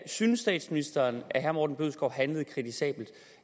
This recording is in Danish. synes statsministeren at herre morten bødskov handlede kritisabelt